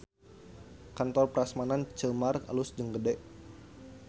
Kantor Prasmanan Ceu Mar alus jeung gede